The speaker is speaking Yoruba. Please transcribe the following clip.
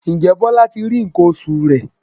Ǹjẹ́ Bọlá ti rí nǹkan oṣù rẹ̀?